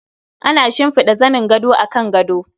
Ana shimfida zanin gado akan gado.